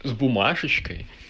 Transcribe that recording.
с бумажечкой